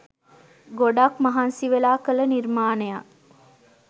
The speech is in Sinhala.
ගොඩක් මහන්සිවෙලා කළ නිර්මාණයක්